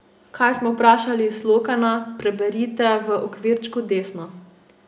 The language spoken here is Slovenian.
Kaj smo vprašali Slokana, preberite v okvirčku desno.